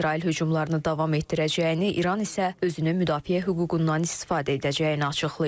İsrail hücumlarını davam etdirəcəyini, İran isə özünü müdafiə hüququndan istifadə edəcəyini açıqlayıb.